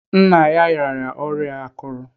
Nna ya rịara ọrịa akụrù.